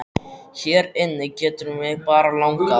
Hér inni getur mig bara langað að.